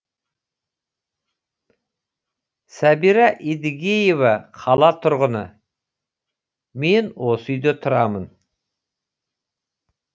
сәбира едігеева қала тұрғыны мен осы үйде тұрамын